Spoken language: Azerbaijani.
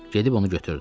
Gedib onu götürdü.